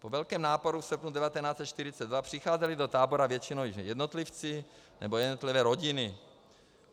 Po velkém náporu v srpnu 1942 přicházeli do tábora většinou již jednotlivci nebo jednotlivé rodiny.